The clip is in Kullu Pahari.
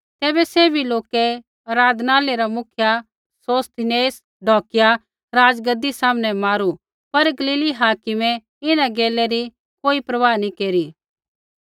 तैबै सैभी लोकै आराधनालय रा मुख्य सोस्थिनेस ढौकिया राज़गद्दी सामनै मारू पर गलीली हाकिमै इन्हां गैलै री कोई परवाह नी केरी